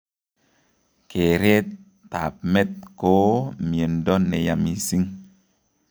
Keeret abmet koo miondo neyaa mising